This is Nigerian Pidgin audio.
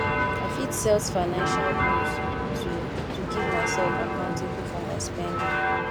i fit set financial goals to to keep myself accountable for my spending